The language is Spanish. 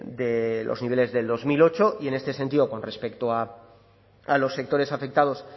de los niveles de dos mil ocho y en este sentido con respecto a los sectores afectados